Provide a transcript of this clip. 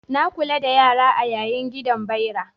Na kula da yara a yiya gidanbyara